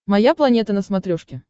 моя планета на смотрешке